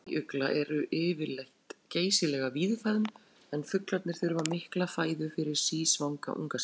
Óðul snæugla eru yfirleitt geysilega víðfeðm en fuglarnir þurfa mikla fæðu fyrir sísvanga unga sína.